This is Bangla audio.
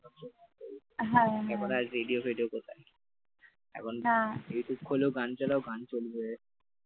রেডিও ফেডিও কোথায়? এখন ইউটিউব খোলো গান চালাও গান চলবে